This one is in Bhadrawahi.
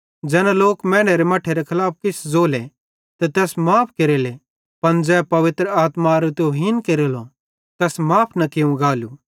ज़ैना लोक मैनेरे मट्ठेरे खलाफ किछ ज़ोले तै तैस माफ़ केरेलो पन ज़ै पवित्र आत्मारी तुहीन केरेलो तैस माफ़ न केरेलो